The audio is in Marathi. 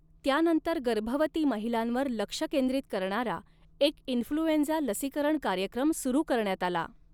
त्यानंतर गर्भवती महिलांवर लक्ष केंद्रित करणारा एक इन्फ्लुएंझा लसीकरण कार्यक्रम सुरू करण्यात आला.